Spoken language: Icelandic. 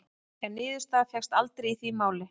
En niðurstaða fékkst aldrei í því máli.